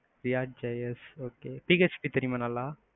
react js okay, PHP தெரியுமா நல்லா?